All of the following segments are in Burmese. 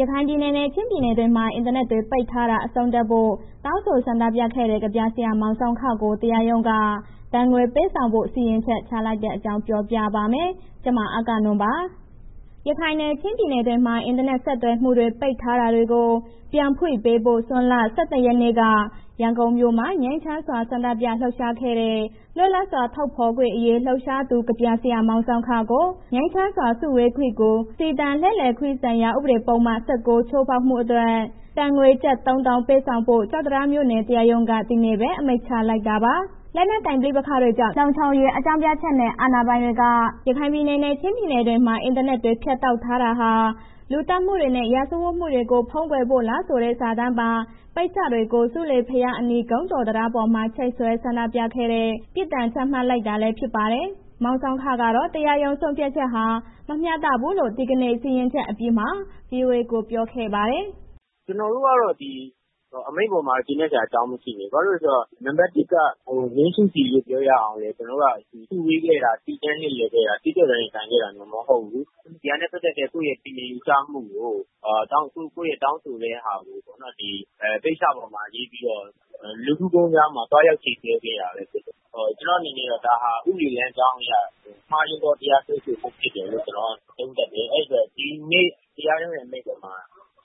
ရခိုင်ပြည်နယ်နဲ့ ချင်းပြည်နယ်တွေမှာ အင်တာနက်တွေ ပိတ်ထားတာ အဆုံးသတ်ဖို့ တောင်းဆိုဆန္ဒပြခဲ့တဲ့ ကဗျာဆရာမောင်ဆောင်းခကို တရားရုံးက ဒဏ်ငွေ ပေးဆောင်ဖို့ စီရင်ချက်ချလိုက်တဲ့အကြောင်းကို ဗွီအိုအေမြန်မာပိုင်းသတင်းထောက် မအဂ္ဂနွန်က ပြောပြပါမယ်။ ရခိုင်နဲ့ ချင်းပြည်နယ်တွေမှာ အင်တာနက် ဆက်သွယ်မှုတွေ ပိတ်ထားတာတွေကို ပြန်ဖွင့်ပေးဖို့ ဇွန်လ ၂၁ ရက်နေ့က ရန်ကုန်မြို့မှာ ငြိမ်းချမ်းစွာ ဆန္ဒပြလှုပ်ရှားခဲ့တဲ့ လွတ်လပ်စွာထုတ်ဖော်ခွင့်အရေး လှုပ်ရှားသူ ကဗျာဆရာမောင်ဆောင်းခကို ငြိမ်းချမ်းစွာ စုဝေးခွင့်နဲ့ စီတန်းလှည့်လည်ခွင့်ဆိုင်ရာ ဥပဒေပုဒ်မ ၁၉ ချိုးဖောက်မှုအတွက် ငွေဒဏ် ကျပ် ၃၀,၀၀၀ ပေးဆောင်ဖို့ ကျောက်တံတားမြို့နယ် တရားရုံးက ဒီနေ့ပဲ အမိန့်ချလိုက်တာပါ။ လက်နက်ကိုင် ပဋိပက္ခတွေကြောင့် လုံခြုံရေးအကြောင်းပြချက်နဲ့ အာဏာပိုင်တွေက ရခိုင်နဲ့ ချင်းပြည်နယ်တွေမှာ အင်တာနက်တွေ ဖြတ်တောက်ထားတာဟာ လူသတ်မှုတွေနဲ့ စစ်ရာဇဝတ်မှုတွေကို ဖုံးကွယ်ဖို့လားဆိုတဲ့ စာတမ်းပါ ပိတ်စတွေကို ဆူးလေဘုရားအနီး ဂုံးကျော်တံတားပေါ်မှာ ချိတ်ဆွဲ ဆန္ဒပြခဲ့တဲ့ လှုပ်ရှားမှုအတွက် ပြစ်ဒဏ်ချမှတ်လိုက်တာလည်း ဖြစ်ပါတယ်။ မောင်ဆောင်းခကတော့ တရားရုံး ဆုံးဖြတ်ချက်ဟာ မမျှတဘူးလို့ ဒီကနေ့ စီရင်ချက်အပြီးမှာပဲ ဗွီအိုအေကို ပြောဆိုခဲ့ပါတယ်။ “ကျနော်တို့က ဒီအမိန့်အပေါ်မှာ ကျေနပ်စရာအကြောင်း မရှိဘူး၊ ဘာဖြစ်လဲဆိုတော့ နံမှတ် ၁ က ငြိမ်းစုစီပြောရအောင်လည်း ကျနော်တို့က စုဝေးခဲ့တာ၊ စီတန်းလှည့်လည်ခဲ့တာ၊ အကျင့်ပျက် ရင်ဆိုင်ခဲ့တာ မဟုတ်ဘူး၊ ဒီဟာနဲ့ ပတ်သက်တဲ့ သူ့ရဲ့ထင်မြင် ယူဆမှု၊ ကိုယ့်ရဲ့ တောင်းဆိုတဲ့ ဟာကိုပေါ့နော်... ပိတ်စပေါ်မှာ ရေးပြီးတော့ လူကူးဂုံတံတားမှာ သွားရောက်ချိတ်ဆွဲခဲ့တာပဲဖြစ်တယ်။ ကျနော်အနေနဲ့ကတော့ ဒါဟာ ဥပဒေလမ်းကြောင်းအရ မှားယွင်းသော တရားစွဲဆိုမှုဖြစ်တယ်လို့ ကျနော်က သုံးသပ်တယ်။ အဲ့ဒီတော့ ဒီနေ့တရားရုံးအမိန့်အပေါ်မှာ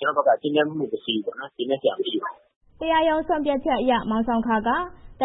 ကျနော်ဘက်က ကျေနပ်မှု မရှိဘူးပေါ့နော်။ ကျေနပ်စရာ မရှိပါဘူး။” တရားရုံးဆုံးဖြတ်ချက်အရ မောင်ဆောင်းခက ဒ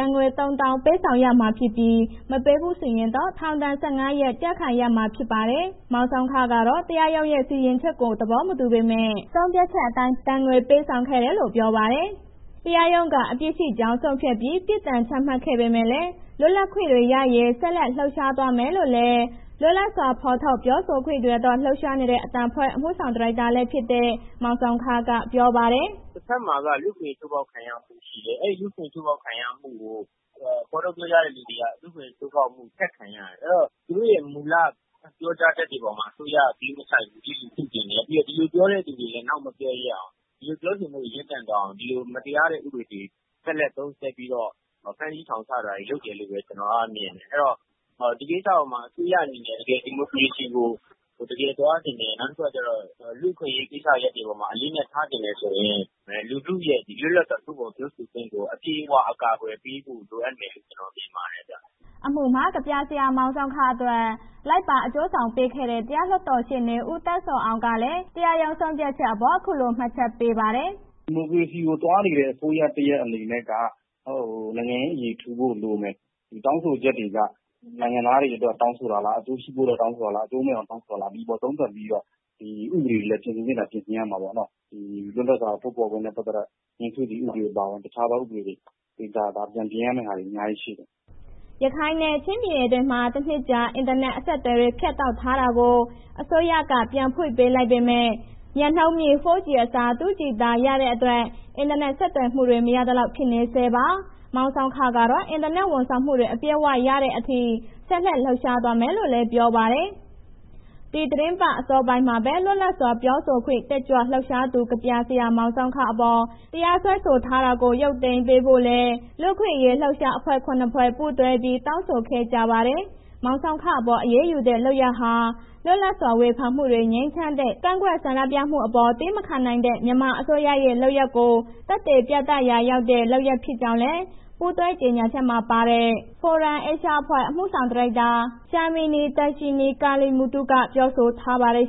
ဏ်ငွေ ၃၀,၀၀၀ ပေးဆောင်ရမှာဖြစ်ပြီး မပေးဘူးဆိုရင်တော့ ထောင်ဒဏ် ၁၅ ရက် ကျခံရမှာ ဖြစ်ပါတယ်။ မောင်ဆောင်းခကတော့ တရားရုံးစီရင်ချက်ကို သဘောမတူပေမဲ့ ဆုံးဖြတ်ချက်အတိုင်း ဒဏ်ငွေပေးဆောင်ခဲ့တယ်လို့ ပြောပါတယ်။ တရားရုံးက အပြစ်ရှိကြောင်းဆုံးဖြတ်ပြီး ပြစ်ဒဏ်ချမှတ်ခဲ့ပေမဲ့လည်း လွတ်လပ်ခွင့်တွေရရေး ဆက်လက် လှုပ်ရှားသွားမယ်လို့လည်း လွတ်လပ်စွာထုတ်ဖော်ပြောဆိုခွင့်တွေအတွက် လှုပ်ရှားနေတဲ့ အသံအဖွဲ့ အမှုဆောင်ဒါရိုက်တာလည်းဖြစ်တဲ့ မောင်ဆောင်းခက ပြောပါတယ်။ “တဘက်မှာက လူ့အခွင့်အရေးချိုးဖောက်ခံရမှု ရှိတယ်။ အဲ့လူ့အခွင့်အရေး ချိုးဖောက်ခံရမှုကို ဖော်ထုတ်ပြောကြားတဲ့ လူတွေက လူ့အခွင့်အရေးချိုးဖောက်မှု ဆက်ခံရတယ်။ အဲ့ဒီတော့ သူတို့ရဲ့ မူလပြောကြားချက်တွေပေါ်မှာ အစိုးရက ဂရုမစိုက်ဘူး၊ လျစ်လျုရှုချင်တယ်။ ပြီးတော့ ဒီလိုပြောတဲ့ လူတွေကို နောက်မပြောရဲအောင်၊ ဒီလိုပြောဆိုမှုတွေ ရပ်တန့်သွားအောင်၊ ဒီလို မတရားတဲ့ ဥပဒေတွေကို လက်ဆက်သုံးစွဲပြီးတော့ ဖမ်းဆီးထောင်ချတာတွေ လုပ်တယ်လို့ပဲ ကျနော်က မြင်တယ်။ အဲဒီတော့ ဒီကိစ္စအပေါ်မှာ အစိုးရအနေနဲ့ တကယ်ဒီမိုကရေစီကို တကယ်သွားချင်တယ်၊ နောက်တခုက လူ့အခွင့်အရေးကိစ္စရပ်တွေပေါ်မှာ အလေးအနက်ထားချင်တယ်ဆိုရင် လူထုရဲ့ လွတ်လပ်စွာ ထုတ်ဖော်ပြောဆိုခွင့်ကို အပြည့်အ၀ ကာကွယ်ပေးဖို့လိုအပ်မယ်လို့ ကျနော်မြင်ပါတယ်။” အမှုမှာ ကဗျာဆရာမောင်ဆောင်းခအတွက် လိုက်ပါအကျိုးဆောင်ပေးခဲ့တဲ့ တရားလွှတ်တော်ရှေ့နေ ဦးသန်းဇော်အောင်ကလည်း ပြောပါတယ်။ “ဒီမိုကရေစီကို သွားနေတဲ့ အစိုးရတစ်ရပ်အနေနဲ့ နိုင်ငံရေး အရေထူဖို့လိုမယ်။ တောင်းဆိုချက်တွေက နိုင်ငံသားတွေအတွက် တောင်းဆိုတာလား၊ အကျိုးရှိဖို့အတွက် တောင်းဆိုတာလား၊ အကျိုးမဲ့အောင် တောင်းဆိုတာလား။ ဒီအပေါ်သုံးသပ်ပြီးတော့ ဒီဥပဒေတွေကို ပြင်ဆင်သင့်ရင် ပြင်ဆင်ရမှာပေါ့။ ဒီလွတ်လပ်စွာ ထုတ်ဖော်ခွင့်နဲ့ ပတ်သက်တာ ငြိမ်းစုစီဥပဒေအပါအဝင် တခြားသော ဥပဒေတွေ ပြန်ပြင်ရမယ့်ဟာတွေ အများကြီးရှိတယ်။” ရခိုင်နဲ့ ချင်းပြည်နယ်တွေမှာ တနှစ်ကျော်ကြာ အင်တာနက် အဆက်အသွယ်တွေ ဖြတ်တောက်ထားတာတွေကို အစိုးရက ပြန်ဖွင့်ပေးလိုက်ပေမဲ့ မြန်နှုန်းမြင့် 4G အစား၊ 2G သာ ရတဲ့အတွက် အင်တာနက် ဆက်သွယ်မှုတွေ မရသလောက် ဖြစ်နေဆဲပါ။ မောင်ဆောင်းခကတော့ အင်တာနက် ဝန်ဆောင်မှုတွေ အပြည့်အဝရတဲ့ အထိ ဆက်လက် လှုပ်ရှားသွားမယ်လို့လည်း ပြောပါတယ်။ ဒီသီတင်းပတ် အစောပိုင်းမှာပဲ လွတ်လပ်စွာ ပြောဆိုခွင့် တက်ကြွလှုပ်ရှားသူ ကဗျာဆရာ မောင်ဆောင်းခအပေါ် တရားစွဲဆို ထားတာကို ရုပ်သိမ်းပေးဖို့လည်း လူ့အခွင့်အရေး လှုပ်ရှားမှုအဖွဲ့ ၇ ဖွဲ့ ပူးတွဲပြီး တောင်းဆိုခဲ့ကြပါတယ်။ မောင်ဆောင်းခအပေါ် အရေးယူတဲ့ လုပ်ရပ်ဟာ လွတ်လပ်စွာဝေဖန်မှုတွေ ငြိမ်းချမ်းတဲ့ ကန့်ကွက်ဆန္ဒပြမှုတွေအပေါ် သည်းမခံနိုင်တဲ့ မြန်မာအစိုးရရဲ့ လုပ်ရပ်ကို သက်သေပြသရာရောက်တဲ့ လုပ်ရပ်ဖြစ်ကြောင်းလည်း ပူးတွဲကြေညာချက်မှာ ပါဝင်တဲ့ FORUM-ASIA အဖွဲ့ အမှုဆောင်ဒါရိုက်တာ Shamini Darshni Kaliemuthu ကပြောဆိုထားပါတယ်